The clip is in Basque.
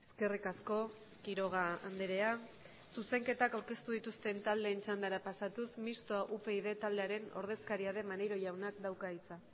eskerrik asko quiroga andrea zuzenketak aurkeztu dituzten taldeen txandara pasatuz mistoa upyd taldearen ordezkaria den maneiro jaunak dauka hitza